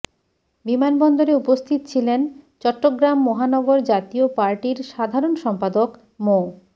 বিমান বন্দরে উপস্থিত ছিলেন চট্টগ্রাম মহানগর জাতীয় পার্টির সাধারণ সম্পাদক মো